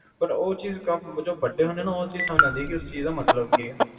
ਪਰ ਉਹ ਚੀਜ਼ ਜਦੋ ਵੱਡੇ ਹੁੰਨੇ ਆ ਨਾ ਉਹ ਚੀਜ ਸਮਝ ਆਂਦੀ ਹੈ ਉਸ ਚੀਜ ਦਾ ਮਤਲਬ ਕਿ ਹੈ